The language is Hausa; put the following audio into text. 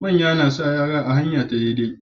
Manya nasa yara a hanya ta dai dai